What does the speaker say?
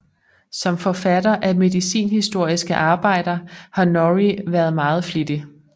Som forfatter af medicinhistoriske arbejder har Norrie været meget flittig